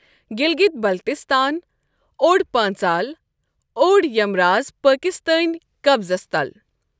گِلگِت بَلتِستان، اوڈپٲنٛژال، اوڈیَمراز پآکستٲنؠ قبزس تَل۔